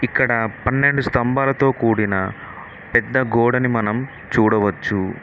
ఇక్కడ పన్నెండు స్తంభాలతో కూడిన పెద్ద గోడని మనం చూడవచ్చు.